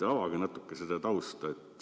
Avage natuke seda tausta!